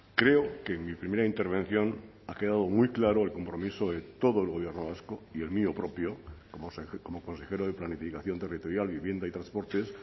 creo que en mi primera intervención ha quedado muy claro el compromiso de todo el gobierno vasco y el mío propio como consejero de planificación territorial vivienda y transportes